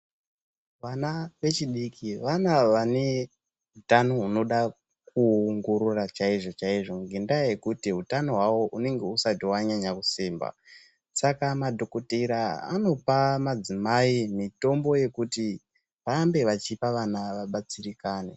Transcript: Vana vechidiki ,vana vane utano hunoda kuongorora chaizvo-chaizvo. Ngendaa yekuti utano hwavo hunenge husati wanyanya kusimba. Saka madhokodhera anopa madzimai mitombo yekuti varambe vachipa vana vabatsirikane.